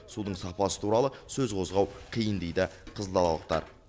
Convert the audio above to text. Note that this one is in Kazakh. судың сапасы туралы сөз қозғау қиын дейді қызылдалалықтар